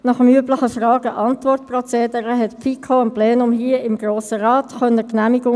Damals ging es um die Bewertung der Liegenschaften im Zusammenhang mit der Verselbstständigung der kantonalen Psychiatrien.